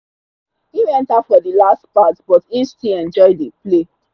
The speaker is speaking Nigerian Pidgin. him enter for the last part but him still enjoy the play.